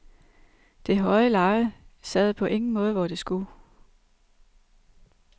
Det høje leje sad på ingen måde, hvor det skulle.